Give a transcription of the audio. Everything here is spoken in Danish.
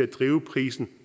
at drive prisen